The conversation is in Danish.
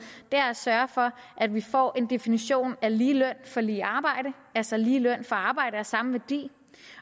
er at sørge for at vi får en definition af lige løn for lige arbejde altså lige løn for arbejde af samme værdi